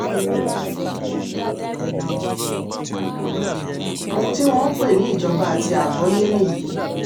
ohun tí wọ́n ń pè ní ìjọba àti àgbọ́yé nìyí